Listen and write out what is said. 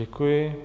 Děkuji.